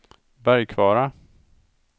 Bergkvara